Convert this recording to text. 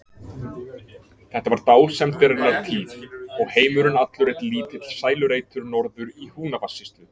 Þetta var dásemdarinnar tíð og heimurinn allur einn lítill sælureitur norður í Húnavatnssýslu.